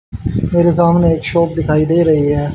मेरे सामने एक शॉप दिखाई दे रही है।